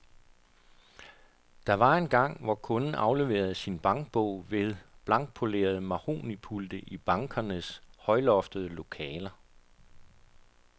Der var engang, hvor kunden afleverede sin bankbog ved blankpolerede mahognipulte i bankernes højloftede lokaler.